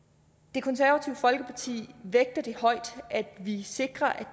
det konservative folkeparti vægter det højt at vi sikrer